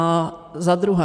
A za druhé.